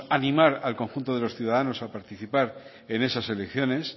animar al conjunto de los ciudadanos a participar en esas elecciones